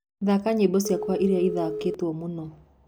thaka nyĩmbo cĩakwaĩrĩa ĩthakagwo mũno